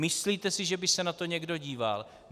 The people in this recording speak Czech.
Myslíte si, že by se na to někdo díval?